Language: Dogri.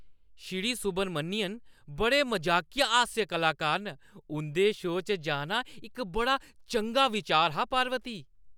श्री सुब्रमण्यन बड़े मजाकिया हास्य कलाकार न। उंʼदे शो च जाना इक बड़ा चंगा बिचार हा, पार्वती।